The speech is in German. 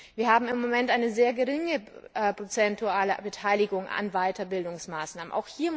Wir haben im Moment eine sehr geringe prozentuale Beteiligung an Weiterbildungsmaßnahmen.